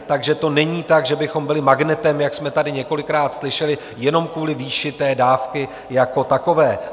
Takže to není tak, že bychom byli magnetem, jak jsme tady několikrát slyšeli, jenom kvůli výši té dávky jako takové.